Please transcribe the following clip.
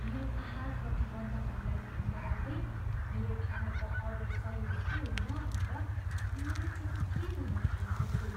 मेरो आहार प्रतिबन्धहरूलाई ध्यानमा राख्दै, मेरो खानाको अर्डर सही हो कि होइन भनेर म अलि चिन्तित हुन थालेको छु।